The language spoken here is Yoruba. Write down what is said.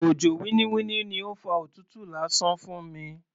Òjò winniwinni ni ó fa òtútù lásán fún mi.